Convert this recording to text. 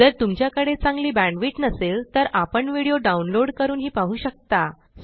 जर तुमच्याकडे चांगली बॅण्डविड्थ नसेल तर आपण व्हिडिओ डाउनलोड करूनही पाहू शकता